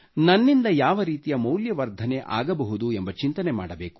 ನನ್ನಿಂದ ಯಾವ ರೀತಿಯ ಮೌಲ್ಯವರ್ಧನೆ ಆಗಬಹುದು ಎಂಬ ಚಿಂತನೆ ಮಾಡಬೇಕು